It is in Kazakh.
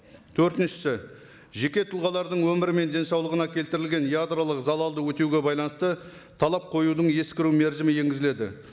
төртіншісі жеке тұлғалардың өмірі мен денсаулығына келтірілген ядролық залалды өтеуге байланысты талап қоюдың ескіру мерзімі енгізіледі